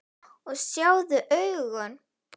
Og sjáðu augun!